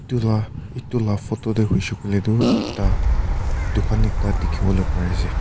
edu la photo tae hoishey koilae tu dukan ekta dikhiwolae parease.